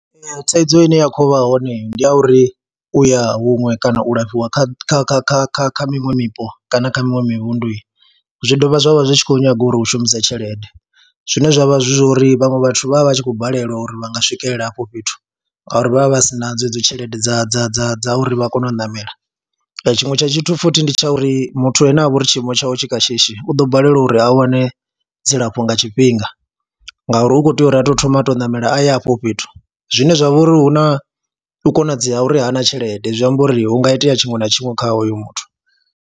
Ee, thaidzo ine ya khou vha hone ndi ya uri u ya huṅwe kana u lafhiwa kha kha kha kha kha kha miṅwe mipo kana kha miṅwe mivhundu zwi dovha zwa vha zwi tshi khou nyaga uri u shumise tshelede, zwine zwa vha zwi zwo ri vhaṅwe vhathu vha vha vha tshi khou balelwa uri vha nga swikelela afho fhethu ngauri vha vha vha si na dzedzo tshelede dza dza dza dza uri vha kone u ṋamela. Tshiṅwe tsha tshithu futhi ndi tsha uri muthu ane a vha uri tshiimo tshawe tshi kha shishi u ḓo balelwa uri a wane dzilafho nga tshifhinga ngauri u khou tea uri a tou thoma a tou ṋamela aye afho fhethu zwine zwa vha uri hu na u konadzea uri ha na tshelede, zwi amba uri hu nga itea tshinwe na tshinwe kha hoyo muthu.